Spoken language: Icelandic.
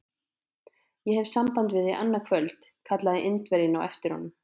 Ég hef samband við þig annað kvöld! kallaði Indverjinn á eftir honum.